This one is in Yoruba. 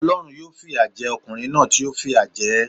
Olórun yóò fi ìyà je okùnrin náà tí ó fìyà je é